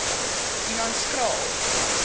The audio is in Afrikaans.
humanskraal